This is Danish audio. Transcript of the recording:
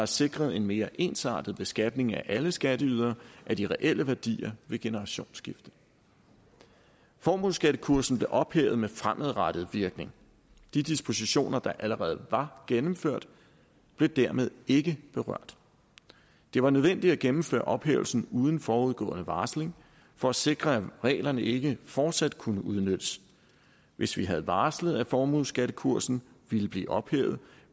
sikret en mere ensartet beskatning af alle skatteydere og af de reelle værdier ved generationsskifte formueskattekursen blev ophævet med fremadrettet virkning de dispositioner der allerede var gennemført blev dermed ikke berørt det var nødvendigt at gennemføre ophævelsen uden forudgående varsling for at sikre at reglerne ikke fortsat kunne udnyttes hvis vi havde varslet at formueskattekursen ville blive ophævet